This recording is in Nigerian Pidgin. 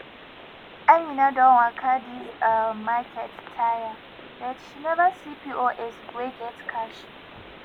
amina don waka this um market tire but she never see pos wey get cash